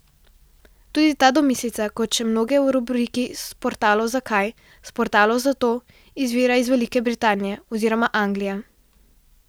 Tudi ta domislica, kot še mnoge v rubriki Sportalov zakaj, Sportalov zato, izvira iz Velike Britanije oziroma Anglije.